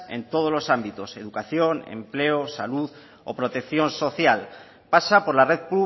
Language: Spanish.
en todos los ámbitos educación empleo salud o protección social pasa por la red